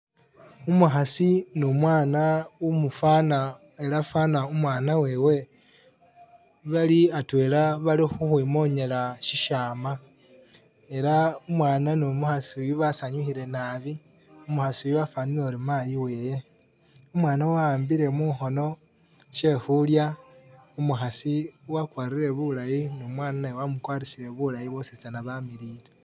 Umukhasi ni umwana umufwana ela fwana umwana wewe bali atwela bali khukhwimonyela syisyama, ela umwana ni umukhasi uyu basanyukhile nabi, umukhasi uyu wafwanile uri mayi wewe. Umwana wahambile mukhono sye khulya, umukhasi wakwarire bulayi ni umwana naye wamukwarisire bulayi boositsana bamilile.